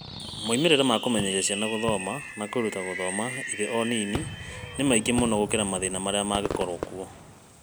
Moimĩrĩro ma kũmenyeria ciana gũthoma na kwĩruta gũthoma irĩ o nini nĩ maingĩ mũno gũkĩra mathĩna marĩa mangĩkorũo kuo.